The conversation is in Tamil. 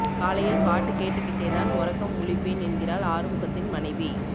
காலையில் பாட்டு கேட்டுகிட்டே தான் ஒறக்கம் முழிப்பேன் என்கிறாள் ஆறுமுகத்தின் மனைவி